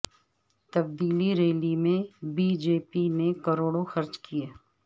تبدیلی ریلی میں B J P نے کروڑوں خرچ کئے